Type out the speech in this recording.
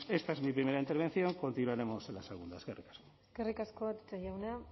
esta es mi primera intervención continuaremos en la segunda eskerrik asko eskerrik asko atutxa jauna